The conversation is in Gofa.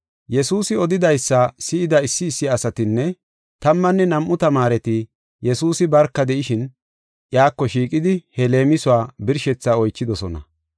Yesuusi odidaysa si7ida issi issi asatinne tammanne nam7u tamaareti Yesuusi barka de7ishin, iyako shiiqidi he leemisuwa birshethaa oychidosona.